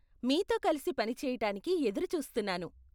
మీతో కలిసి పని చేయటానికి ఎదురు చూస్తున్నాను.